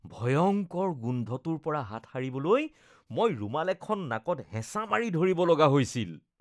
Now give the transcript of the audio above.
ভয়ংকৰ গোন্ধটোৰ পৰা হাত সাৰিবলৈ মই ৰুমাল এখন নাকত হেঁচা মাৰি ধৰিব লগা হৈছিল।